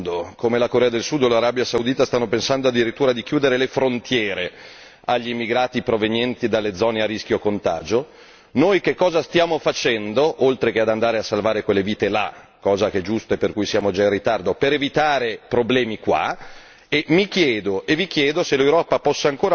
Però mi domando e vi domando se alcuni paesi al mondo come la Corea del Sud o l'Arabia Saudita stanno pensando addirittura di chiudere le frontiere agli immigrati provenienti dalle zone a rischio contagio, noi che cosa stiamo facendo oltre che andare a salvare quelle vite là, cosa che è giusta e per cui siamo già in ritardo, per evitare problemi qua?